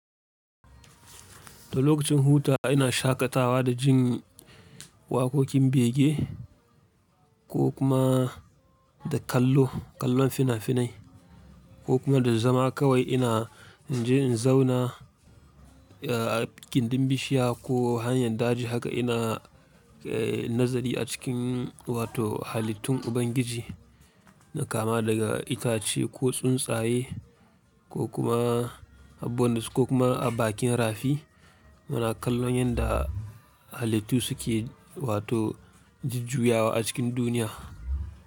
Da lokacin huta ina shaƙatawa da jin waƙoƙin bege ko kuma da kallo, kallon fina-finai ko kuma da zama kawai ina jin in zauna a ginɗin bishiya ko hanyar daji haka ina nazari a cikin wato halittun Ubangiji na kama daga itace ko tsuntsaye ko kuma a bondu ko kuma a bakin rafi. Muna kallon yanda halittu suke wato jujjuyawa a cikin duniya.